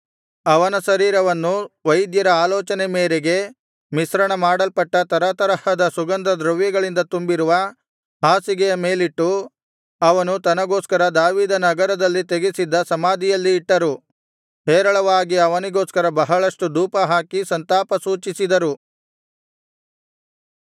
ಅವನ ಶರೀರವನ್ನು ವೈದ್ಯರ ಆಲೋಚನೆ ಮೇರೆಗೆ ಮಿಶ್ರಣ ಮಾಡಲ್ಪಟ್ಟ ತರತರಹದ ಸುಗಂಧದ್ರವ್ಯಗಳಿಂದ ತುಂಬಿರುವ ಹಾಸಿಗೆಯ ಮೇಲಿಟ್ಟು ಅವನು ತನಗೋಸ್ಕರ ದಾವೀದನಗರದಲ್ಲಿ ತೆಗೆಸಿದ್ದ ಸಮಾಧಿಯಲ್ಲಿ ಇಟ್ಟರು ಹೇರಳವಾಗಿ ಅವನಿಗೋಸ್ಕರ ಬಹಳಷ್ಟು ಧೂಪ ಹಾಕಿ ಸಂತಾಪ ಸೂಚಿಸಿದರು